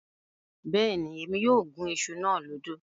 Bẹ́ẹ̀ni, Émi yóò gún iṣu náà lódò